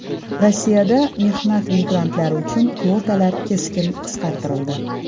Rossiyada mehnat migrantlari uchun kvotalar keskin qisqartirildi.